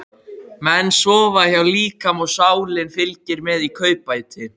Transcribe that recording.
Menn sofa hjá líkama og sálin fylgir með í kaupbæti.